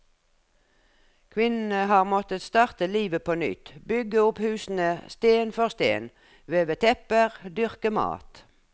Kvinnene har måttet starte livet på nytt, bygge opp husene sten for sten, veve tepper, dyrke mat.